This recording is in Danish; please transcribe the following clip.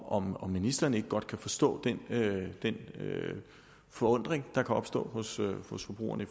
om om ministeren ikke godt kan forstå den forundring der kan opstå hos hos forbrugerne i